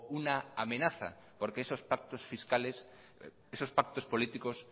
una amenaza porque esos pactos fiscales esos pactos políticos